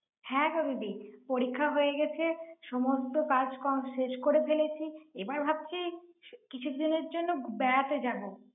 হ্যাঁ গো দিদি। পরীক্ষা হয়ে গেছে, সমস্ত কাজকর্ম শেষ করে ফেলেছি। এ বার ভাবছি কি~ কিছুদিনের জন্য বে~ বেড়াতে যাব।